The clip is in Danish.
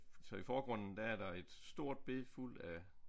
Så i forgrunden der er der et stort bed fuld af